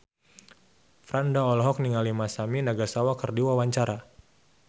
Franda olohok ningali Masami Nagasawa keur diwawancara